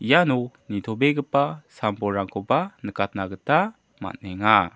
iano nitobegipa sam-bolrangkoba nikatna gita man·enga.